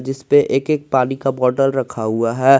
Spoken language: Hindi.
जिसपे एक एक पानी का बोतल रखा हुआ है।